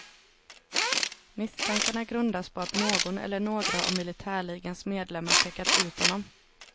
Misstankarna grundas på att någon eller några av militärligans medlemmar pekat ut honom.